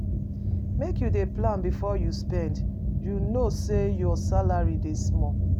Make you dey plan before you spend, you know sey your salary dey small.